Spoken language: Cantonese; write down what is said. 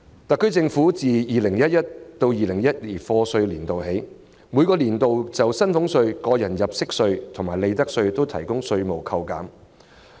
特區政府自 2011-2012 課稅年度起，每個年度均就薪俸稅、個人入息課稅及利得稅提供稅務扣減。